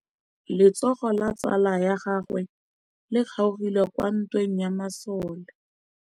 Letsôgô la tsala ya gagwe le kgaogile kwa ntweng ya masole.